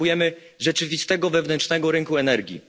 Potrzebujemy rzeczywistego, wewnętrznego rynku energii.